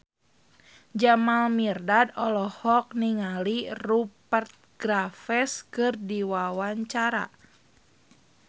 Jamal Mirdad olohok ningali Rupert Graves keur diwawancara